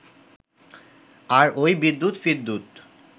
আর ওই বিদ্যুৎ ফিদ্যুৎ